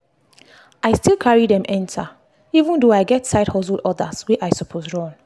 i still carry dem enter even though i get side hustle orders wey i suppose run.